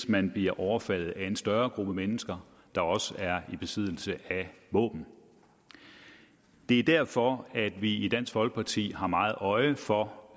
man bliver overfaldet af en større gruppe mennesker der også er i besiddelse af våben det er derfor vi i dansk folkeparti har meget øje for